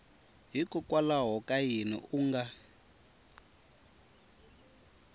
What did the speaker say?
hikokwalaho ka yini u nga